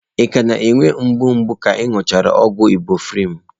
Ị ka na-enwe mgbu mgbe ị nụchara ọgwụ ibụprọfen?